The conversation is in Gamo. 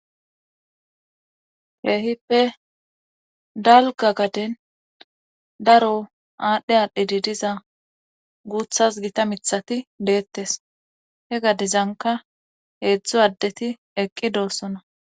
Keehippe dalga gaden daro aadhdhe aadhdhedidiza guuthas gita mithati deettes he gadezanka heedzdzu addeti eqqi doossona.